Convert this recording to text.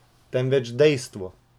Temveč dejstvo.